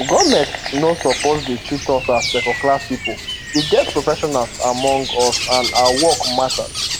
goment no suppose dey treat us as secondclass pipo we get professionals among us and our work matter